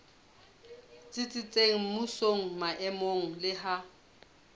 tsitsitseng mmusong maemong le ha